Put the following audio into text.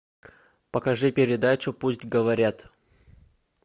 покажи передачу пусть говорят